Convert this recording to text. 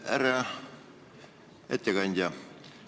Härra ettekandja!